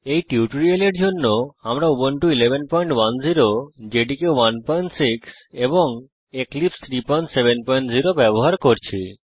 এই টিউটোরিয়ালের জন্য আমরা উবুন্টু 1110 জেডিকে 16 এবং এক্লিপসে 370 ব্যবহার করছি